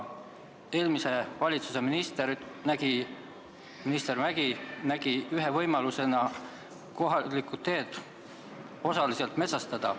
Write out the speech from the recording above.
Eelmise valitsuse minister Mäggi nägi ühe võimalusena kohalikud teed osaliselt metsastada.